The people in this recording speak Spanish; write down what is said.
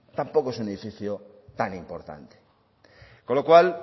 tampoco es un edificio tan importante con lo cual